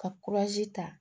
Ka ta